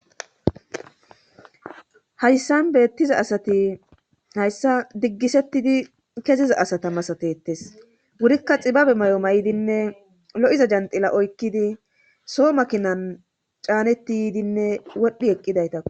Hayssan beettiza asati hayssa diggisettidi keziza asata masatetes wurikka xibabe may7o may7dinne lo7iza janxila oykkidi soo makinan caanetti ydinne wodhdhi eqqidaytakku.